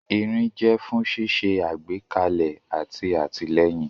Irin jẹ́ fún ṣíṣe àgbékalẹ̀ àti àtìlẹ́yìn.